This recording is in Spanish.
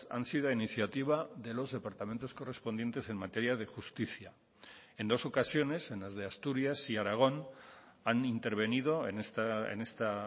han sido iniciativa de los departamentos correspondientes en materia de justicia en dos ocasiones en las de asturias y aragón han intervenido en esta